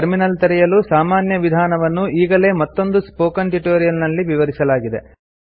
terminal ತೆರೆಯಲು ಸಾಮಾನ್ಯ ವಿಧಾನವನ್ನು ಈಗಾಗಲೇ ಮತ್ತೊಂದು ಸ್ಪೋಕನ್ ಟ್ಯುಟೋರಿಯಲ್ ನಲ್ಲಿ ವಿವರಿಸಲಾಗಿದೆ